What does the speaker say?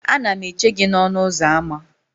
Ana m eche gi n'ọnụ ụzọ ámá